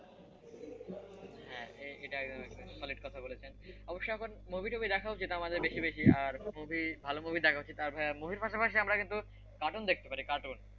হ্যাঁ এটা একদম সঠিক কথা বলেছেন তবে অবশ্য এখন movie টুভি দেখা উচিত আমাদের বেশি বেশি আর ভালো movie দেখা উচিত বহি পাশাপাশি আমরা কিন্তু কার্টুন দেখতে পারি কার্টুন,